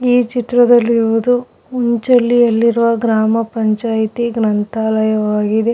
ಈ ಚಿತ್ರದಲ್ಲಿ ಇರುವುದು. ಉಂಚಳ್ಳಿಯಲ್ಲಿರುವ ಗ್ರಾಮ ಪಂಚಾಯಿತಿ ಯ ಗ್ರಂಥಾಲಯವಾಗಿದೆ.